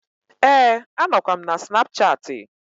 Ee, a nọkwa m na snapchattị.